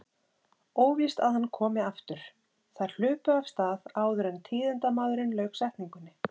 Óvíst að hann komi aftur. Þær hlupu af stað áður en tíðindamaðurinn lauk setningunni.